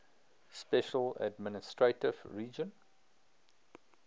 special administrative region